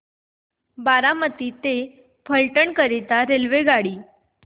बारामती ते फलटण करीता रेल्वेगाडी